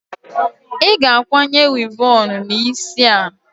Ị ga-akwanye wivọọnụ n'isi a!